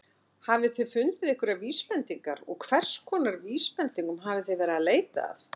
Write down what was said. Hafið þið fundið einhverjar vísbendingar og hverskonar vísbendingum hafið þið verið að leita að?